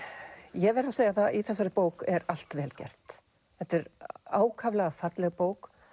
ég verð að segja það að í þessari bók er allt vel gert þetta er ákaflega falleg bók